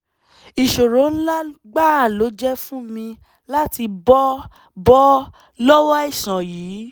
ìṣòro ńlá gbáà ló jẹ́ fún mi láti bọ́ bọ́ lọ́wọ́ àìsàn yìí